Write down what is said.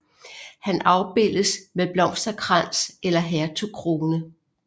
Han afbildes med blomsterkrans eller hertugkrone